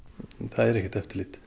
það er ekkert eftirlit